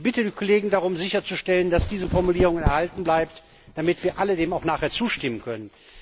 Ich bitte die Kollegen darum, sicherzustellen, dass diese Formulierung erhalten bleibt, damit wir alle dem auch nachher zustimmen können.